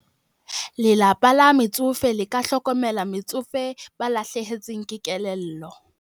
Lelapa la metsofe le ka hlokomela metsofe ba lahlehetsweng ke kelello.